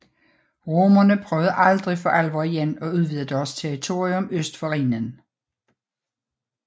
Romerne prøvede aldrig for alvor igen at udvide deres territorium øst for Rhinen